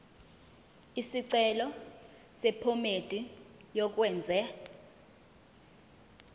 isicelo sephomedi yokwenze